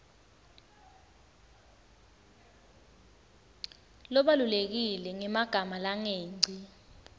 labalulekile ngemagama langengci